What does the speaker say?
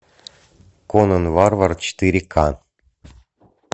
конан варвар четыре ка